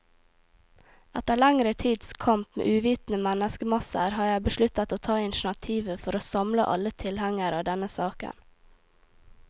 Etter lengre tids kamp mot uvitende menneskemasser, har jeg besluttet å ta initiativet for å samle alle tilhengere av denne saken.